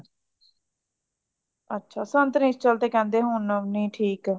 ਅੱਛਾ ਸਾਨੂੰ ਤੇ ਤੇ ਕਹਿੰਦੇ ਹੋਨਾ ਵੀ ਨਾ ਠੀਕ